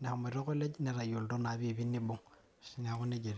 emut koleji netayolito naa piipii neibung',naaku neja etiu.